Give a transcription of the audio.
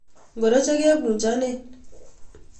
Ngoro chekebunchonen?